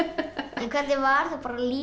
hvernig var lífið